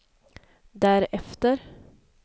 därefter